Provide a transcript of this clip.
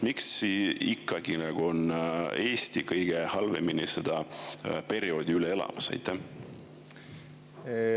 Miks ikkagi elab Eesti seda perioodi kõige halvemini üle?